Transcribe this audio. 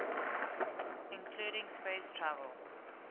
including space travel